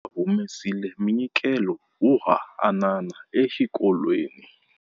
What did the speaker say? Va humesile munyikelo wo hanana exikolweni.